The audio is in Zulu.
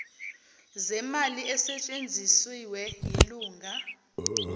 zemali esetshenzisiwe yilunga